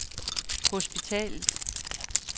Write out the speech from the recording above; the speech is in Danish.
hospitalet